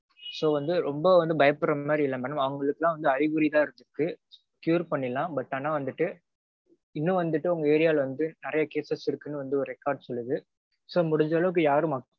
so வந்து ரொம்ப வந்து பயப்படற மாதிரி இல்ல madam. அவங்களுக்கெல்லாம் வந்து அறிகுறிதா இருக்கு cure பண்ணிரலாம். but ஆனா வந்துட்டு இன்னும் வந்துட்டு உங்க area ல வந்து நெறைய cases இருக்குனுவந்து ஒரு record சொல்லுது. so முடிஞ்ச அளவுக்கு யாரும்